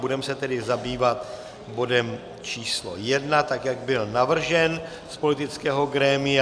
Budeme se tedy zabývat bodem číslo 1, tak jak byl navržen z politického grémia.